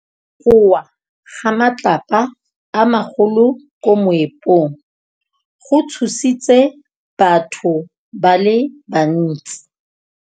Go wa ga matlapa a magolo ko moepong go tshositse batho ba le bantsi.